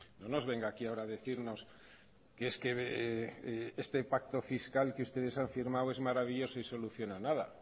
no nos venga aquí ahora a decirnos que es que este pacto fiscal que ustedes han firmado es maravilloso y soluciona nada